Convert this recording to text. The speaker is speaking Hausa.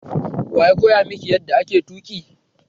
Waya koya miki yanda ake tuki?